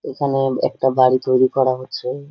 এখানে একটা বাড়ি তৈরী করা হচ্ছে।